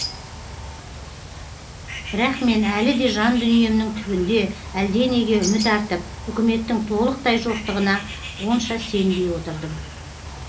бірақ мен әлі де жан дүниемнің түбінде әлденеге үміт артып үкіметтің толықтай жоқтығына онша сенбей отырдым